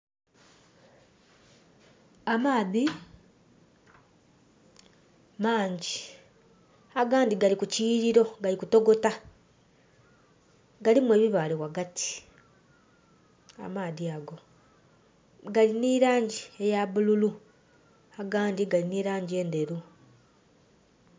Amaadhi mangyi. Agandhi gali ku kiyiiriro gali kutokota. Galimu ebibaale ghagati, amaadhi ago. Gali nhi laangi eya bululu, agandhi gali nhi laangi endheru.